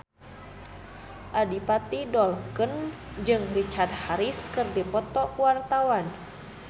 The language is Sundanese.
Adipati Dolken jeung Richard Harris keur dipoto ku wartawan